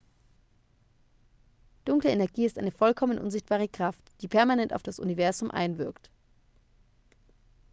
dunkle energie ist eine vollkommen unsichtbare kraft die permanent auf das universum einwirkt